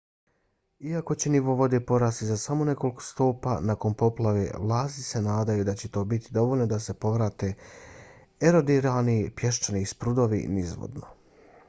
iako će nivo vode porasti za samo nekoliko stopa nakon poplave vlasti se nadaju da će to biti dovoljno da se povrate erodirani pješčani sprudovi nizvodno